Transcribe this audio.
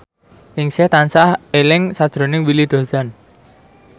Ningsih tansah eling sakjroning Willy Dozan